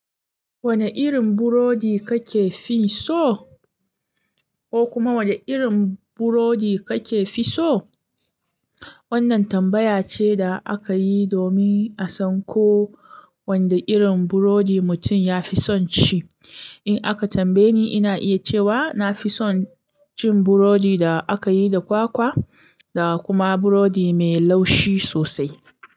Wani irin burodi kake fi so? Ko kuma wani irin burodi kake fi so? Wannan tambaya ce da aka yi domin a san ko wanda irin burodi mutum ya fi son ci. In aka tambaye ni, ina iya cewa na fi son cin burodi da aka yi da kwakwa da kuma burodi mai laushi sosai.